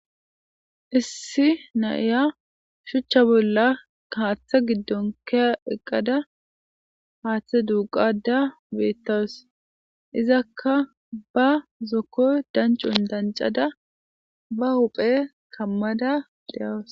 Issi na'iya shucha bola haathe gidon ke'a eqada haathe duuqada beetawusi. Izaka ba zo'oko danconi dancada ba huphe kamada de'awusi.